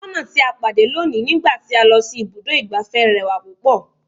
Atọ́nà tí a pàdé lónìí ní gba ti a lọ si ibùdó igbàfẹ́ rẹwà púpọ̀.